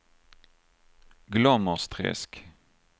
Glommersträsk